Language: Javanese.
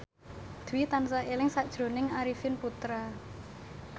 Dwi tansah eling sakjroning Arifin Putra